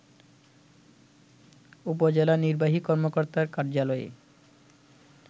উপজেলা নির্বাহী কর্মকর্তার কার্যালয়ে